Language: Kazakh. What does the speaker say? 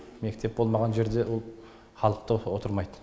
мектеп болмаған жерде халық та отырмайды